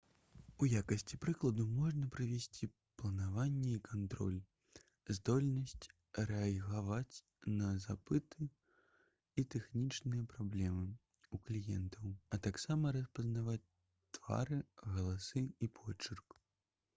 у якасці прыкладу можна прывесці планаванне і кантроль здольнасць рэагаваць на запыты і тэхнічныя праблемы ў кліентаў а таксама распазнаваць твары галасы і почырк